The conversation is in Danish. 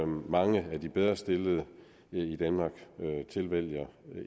mange af de bedrestillede i danmark tilvælger